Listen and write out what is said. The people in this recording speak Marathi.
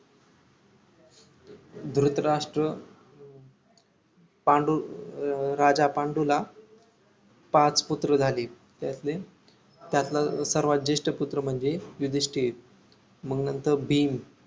ध्रीतराष्ट्र पांडू अं राजा पांडूला पाच पुत्र झाली त्यातली त्यातला सर्वात जेष्ठ पुत्र म्हणजे युधिष्टिर मग नंतर भीम